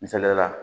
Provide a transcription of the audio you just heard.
Misaliyala